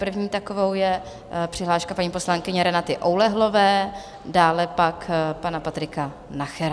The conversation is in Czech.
První takovou je přihláška paní poslankyně Renaty Oulehlové, dále pak pana Patrika Nachera.